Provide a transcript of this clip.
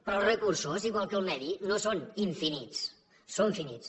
però els recursos igual que el medi no són infinits són finits